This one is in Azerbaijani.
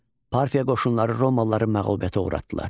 Parfiya qoşunları romalıları məğlubiyyətə uğratdılar.